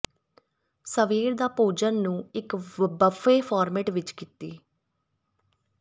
ਸਵੇਰ ਦਾ ਭੋਜਨ ਨੂੰ ਇੱਕ ਬੱਫੇ ਫਾਰਮੈਟ ਵਿੱਚ ਕੀਤੀ